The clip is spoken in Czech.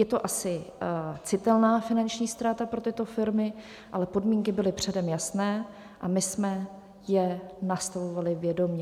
Je to asi citelná finanční ztráta pro tyto firmy, ale podmínky byly předem jasné a my jsme je nastavovali vědomě.